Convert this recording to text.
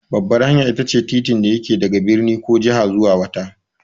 Babbar hanya itace titin da yake daga birni ko jiha zuwa wata.